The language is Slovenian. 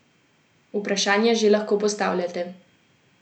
Vprašanja že lahko postavljate.